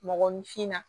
Mɔgɔninfinna